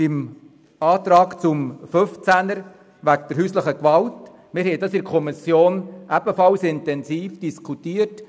Der Antrag zu Artikel 15 bezüglich häuslicher Gewalt wurde in der Kommission ebenfalls intensiv diskutiert.